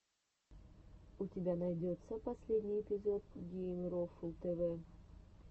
у тебя найдется последний эпизод геймрофл тэвэ